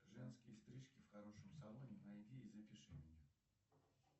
женские стрижки в хорошем салоне найди и запиши меня